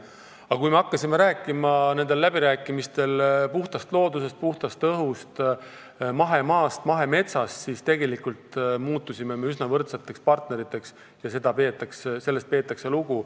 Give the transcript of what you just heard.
Aga kui me hakkasime nendel läbirääkimistel puhtast loodusest, puhtast õhust, mahemaast ja mahemetsast rääkima, siis me muutusime üsna võrdseteks partneriteks, sest sellest peetakse lugu.